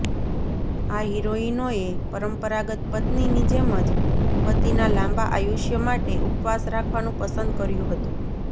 આ હિરોઇનોએ પરંપરાગત પત્નીની જેમ જ પતિના લાંબા આયુષ્ય માટે ઉપવાસ રાખવાનું પસંદ કર્યું હતું